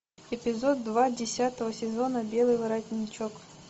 эпизод два десятого сезона белый воротничок